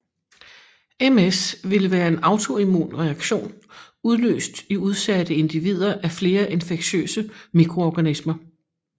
MS ville være en autoimmun reaktion udløst i udsatte individer af flere infektiøse mikroorganismer